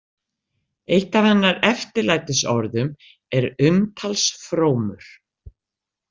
Eitt af hennar eftirlætisorðum er umtalsfrómur.